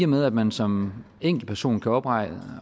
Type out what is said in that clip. med at man som enkeltperson kan oprette